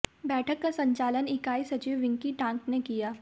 बैठक का संचालन इकाई सचिव विक्की टांक ने किया